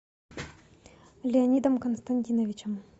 леонидом константиновичем